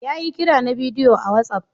Ya yi kira na bidiyo a whatsapp.